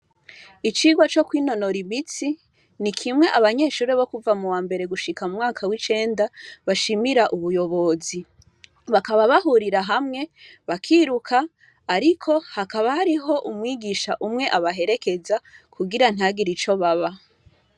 Icigwa co kwinonora imitsi ni kimwe abanyeshure bo kuva muwambere gushika mu mwaka w’icenda bashimira ubuyobozi, bakaba bahurira hamwe bakiruka ariko hakaba hariho umwigisha umwe abaherekeza kugira ntihagire ico baba.